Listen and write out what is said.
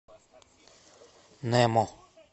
немо